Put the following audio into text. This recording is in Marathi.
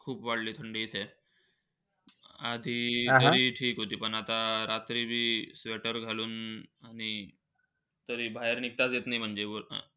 खूप वाढली थंडी इथे. आधी, ठीक होती. पण आता रात्री बी sweater घालून आणि, तरी बाहेर निघताच येत नाही म्हणजे.